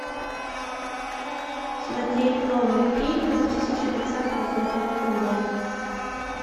смотреть новые фильмы две тысячи двадцатого года онлайн